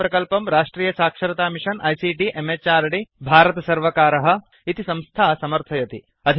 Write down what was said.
एतं प्रकल्पं राष्ट्रीय साक्षरता मिषन् आईसीटी म्हृद् भारत सर्वकारः इति संस्था समर्थयति